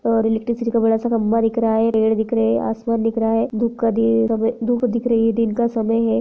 और इलेक्ट्रिसिटी का बड़ा सा खम्भा दिख रहा है पेड़ दिख रहे है असमान धुप का दे धुप दिख रहा हैदिन का समय है।